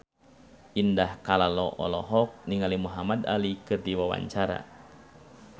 Indah Kalalo olohok ningali Muhamad Ali keur diwawancara